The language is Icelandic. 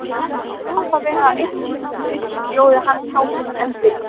Hvernig má það vera að einn íslenskur biskup bjóði hans hátign enn byrginn?